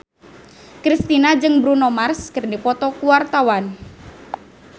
Kristina jeung Bruno Mars keur dipoto ku wartawan